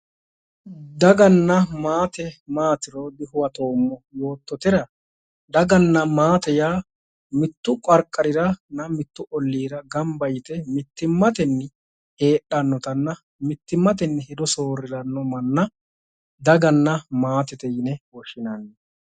Daganna maate maatiro dihuwatoommo yoottotera daganna maate yaa mittu qarqarira mittu ollira gamba yite mittimmatenni heedhannotanna mittimmatenni hedo soorriranno manna daganna maatete yine woshshinanni.